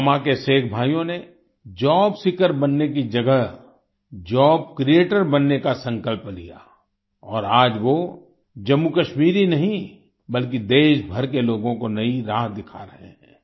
पुलवामा के शेख भाइयों ने जॉब सीकर बनने की जगह जॉब क्रिएटर बनने का संकल्प लिया और आज वो जम्मूकश्मीर ही नहीं बल्कि देश भर के लोगों को नई राह दिखा रहे हैं